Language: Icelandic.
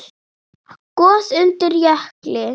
Gos undir jökli